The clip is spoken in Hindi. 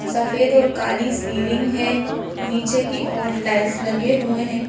सफेद और काली सीलिंग है नीचे की ओर टाइल्स लगे हुए हैं।